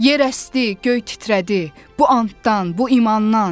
Yer əsdi, göy titrədi bu antdan, bu imandan.